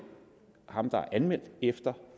ham der er anmeldt efter